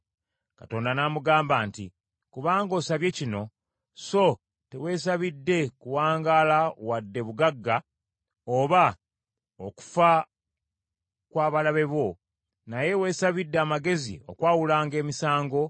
Katonda n’amugamba nti, “Kubanga osabye kino, so teweesabidde kuwangaala wadde bugagga, oba okufa kw’abalabe bo, naye weesabidde amagezi okwawulanga emisango,